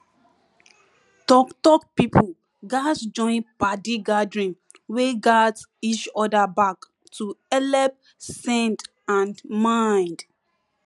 talktalk people gatz join padi gathering wey gat each other back to helep send and mind